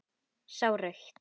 Sá rautt.